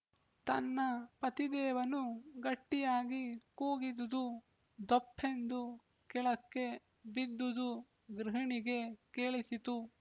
ತನ್ನ ಪತಿದೇವನು ಗಟ್ಟಿಯಾಗಿ ಕೂಗಿದುದು ಧೊಪ್ಪೆಂದು ಕೆಳಕ್ಕೆ ಬಿದ್ದುದು ಗೃಹಿಣಿಗೆ ಕೇಳಿಸಿತು